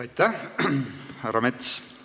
Aitäh, härra Mets!